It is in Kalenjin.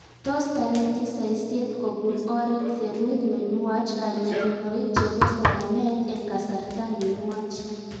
Tos tareti saisaiet kopun oret serut ne nuach kanyorunoik chepo somanet eng' kasarta ne nuach